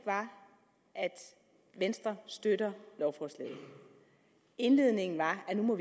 var at venstre støtter lovforslaget indledningen var at man må